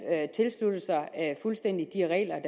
tilsluttet sig fuldstændig de regler